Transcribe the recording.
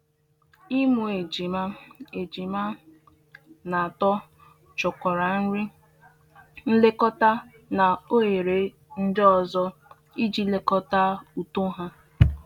Ịmụ ejima ejima na atọ chọkwara nri, nlekọta, na ohere ndị ọzọ iji lekọta uto ha.